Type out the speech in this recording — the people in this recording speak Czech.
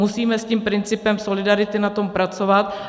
Musíme s tím principem solidarity na tom pracovat.